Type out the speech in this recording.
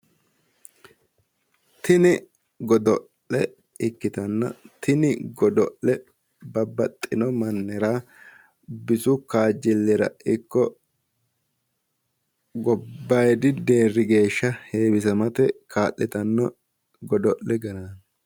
Tini godo'le ikkittanna ,tini godo'le babbaxino mannira bisu kaajjilira ikko gobbaayidi deeri geeshsha heewisammate kaa'littano godo'le garati